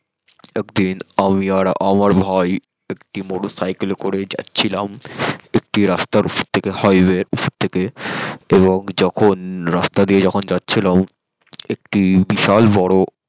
একদিন আমি আর আমার ভাই একটি মোটর সাইকেল করে যাচিলাম একটি রাস্তার অপর থেকে highway থেকে ওখানে একটি যখন রাস্তা দিয়ে যখন জাছিলাম একটি বিশাল বর